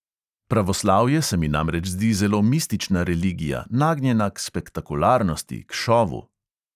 Pravoslavje se mi namreč zdi zelo mistična religija, nagnjena k spektakularnosti, k šovu.